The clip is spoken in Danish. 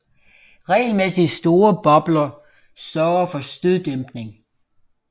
Regelmæssig store bobler sørger for støddæmpning